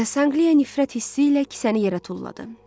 Sanqliya nifrət hissi ilə kisəni yerə tulladı.